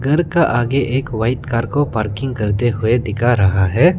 घर का आगे एक व्हाइट कार को पार्किंग करते हुए दिखा रहा है।